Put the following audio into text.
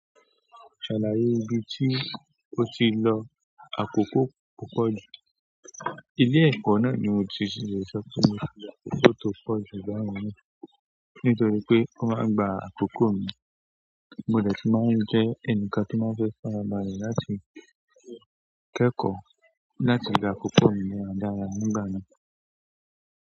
Ṣàlàyé ibi tí o ti lọ àkókò kò pọ̀jù. Ile ẹ̀kọ́ náà ni mo ti ṣì ṣe sọ pé mo fẹ́ kó tó pọ̀jù báyìí mọ́ nítorí pé ó máa ń gba àkókò mi. Mo dẹ tí máa ń jẹ ẹnì kan tó máa ń fẹ́ farabalẹ̀ láti kẹ́kọ̀ọ́ láti gba àkókò mi nípa dára nígbà náà.